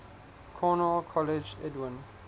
cornell colleague edwin